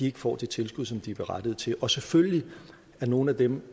ikke får det tilskud som de er berettiget til og selvfølgelig er nogle af dem